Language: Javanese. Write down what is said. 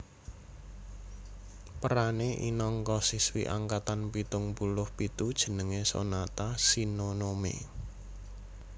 Perané inangka siswi angkatan pitung puluh pitu jenengé Sonata Shinonome